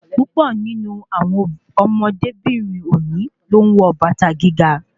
Púpọ̀ nínú àwọn ọmọdébìnrin òní ló ń wọ bàtà gíga